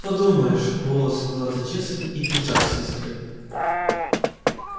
подумаешь волосы назад зачёсаны и пиджак с искрой